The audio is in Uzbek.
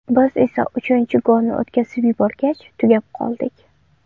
Biz esa uchinchi golni o‘tkazib yuborgach, tugab qoldik.